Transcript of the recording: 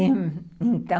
E, então...